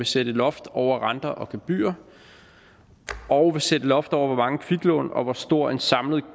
sætte loft over renter og gebyrer og sætte loft over hvor mange kviklån og hvor stor en samlet